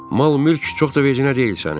Mal-mülk çox da vecinə deyil sənin.